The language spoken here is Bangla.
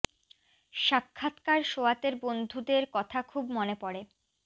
সা ক্ষা ৎ কা র সোয়াতের বন্ধুদের কথা খুব মনে পড়ে